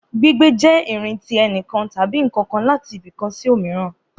Gbígbé jẹ irin ti ẹnikan tabi nkankan lati ibi kan si omiran